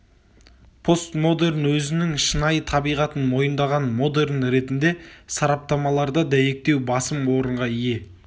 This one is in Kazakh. постмодерн өзінің шынайы табиғатын мойындаған модерн ретінде сараптамаларда дәйектеу басым орынға ие